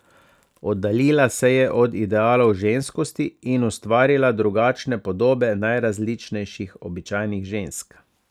Oddaljila se je od idealov ženskosti in ustvarila drugačne podobe najrazličnejših običajnih žensk.